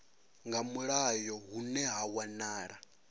nga mulayo hune ha wanala